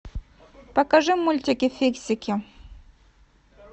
покажи мультики фиксики